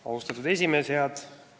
Austatud esimees!